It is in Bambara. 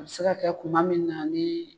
A bi se kɛ kuma min na ni